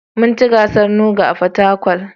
Mun ci gasar NUGA a Fatakwal